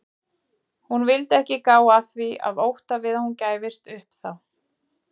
Hún vildi ekki gá að því af ótta við að hún gæfist þá upp.